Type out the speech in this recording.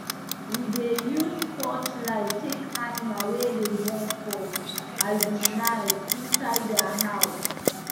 we dey use torchlight check animals wey dey born for um night inside their house